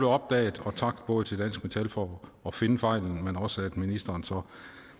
opdaget og tak både til dansk metal for at finde fejlen men også ministeren for